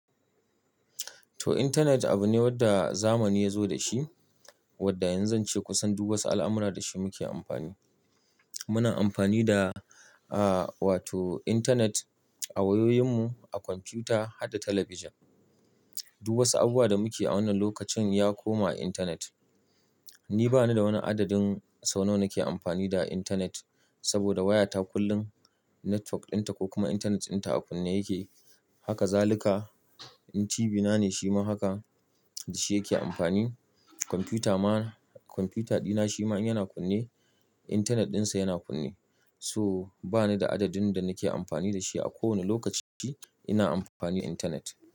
To, intanet abu ne wadda zamani ya zo da shi, wadda yanzu zance kusan duk wata al'amura da shi muke amfani. Muna amfani da, ah, wato intanet a wayoyinmu, a kwamfuta har da talabijin. Duk wasu abubuwan da muke a wannan lokacin ya koma intanet. Ni ba ni da wani adadin sau nawa nake amfani da intanet saboda wayata kullum network dinta ko kuma intanet dinta a kunne yake. Haka zaluka, in TV na ne shi ma haka, da shi yake amfani. Kwamfuta ma, kwamfuta dina shi ma in yana kunne, intanet dinsa yana kunne. So ba ni da adadin da nake amfani da shi a kowane lokaci ina amfani intanet.